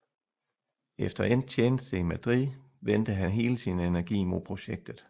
Efter endt tjeneste i Madrid vendte han hele sin energi mod projektet